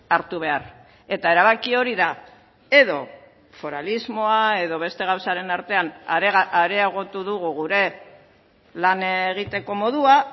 hartu behar eta erabaki hori da edo foralismoa edo beste gauzaren artean areagotu dugu gure lan egiteko modua